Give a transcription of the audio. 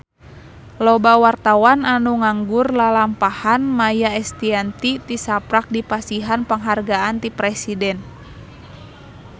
Loba wartawan anu ngaguar lalampahan Maia Estianty tisaprak dipasihan panghargaan ti Presiden